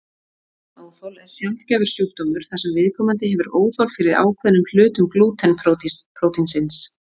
Glútenóþol er sjaldgæfur sjúkdómur þar sem viðkomandi hefur óþol fyrir ákveðnum hlutum glúten prótínsins.